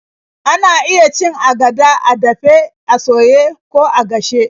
Ana iya cin agada a dafe, a soye, ko a gashe.